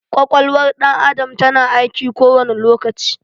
Ƙwaƙwalwar ɗan adam ta na aiki kowani lokaci